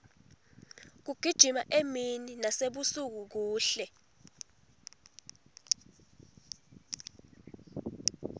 kugijima emini nasebusuku kuhle